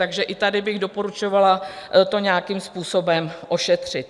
Takže i tady bych doporučovala to nějakým způsobem ošetřit.